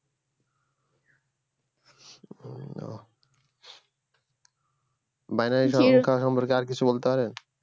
ও binary সংখ্যা সম্পর্কে আর কিছু বলতে পারেন